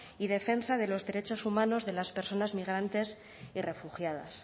y defensa de los derechos humanos de las personas migrantes y refugiadas